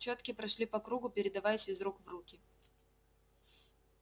чётки прошли по кругу передаваясь из рук в руки